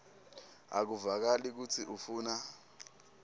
akuvakali kutsi ufuna